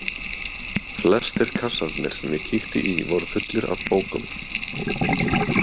Flestir kassarnir sem ég kíkti í voru fullir af bókum.